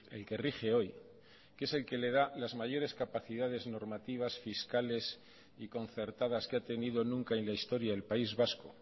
el que rige hoy que es el que le da las mayores capacidades normativas fiscales y concertadas que ha tenido nunca en la historia del país vasco